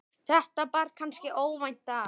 þetta bar kannski óvænt að.